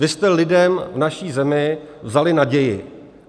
Vy jste lidem v naší zemi vzali naději.